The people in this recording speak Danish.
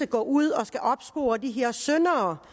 går ud og skal opspore de her syndere